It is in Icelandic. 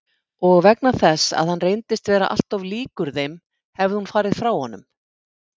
Og vegna þess að hann reyndist vera alltof líkur þeim hefði hún farið frá honum.